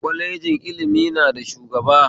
Kwalejin ilimi na da shugaba